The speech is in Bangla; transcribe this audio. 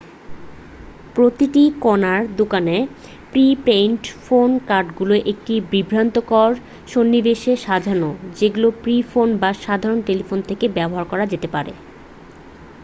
প্রতিটি কোণার দোকানে প্রি-পেইড ফোন কার্ডগুলি একটি বিভ্রান্তিকর সন্নিবেশে সাজানো যেগুলো পে ফোন বা সাধারণ টেলিফোন থেকে ব্যবহার করা যেতে পারে